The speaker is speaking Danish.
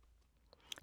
DR K